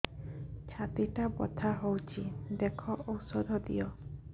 ଛାତି ଟା ବଥା ହଉଚି ଦେଖ ଔଷଧ ଦିଅ